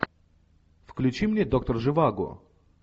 включи мне доктор живаго